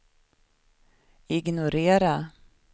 ignorera